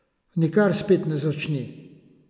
Nikar spet ne začni!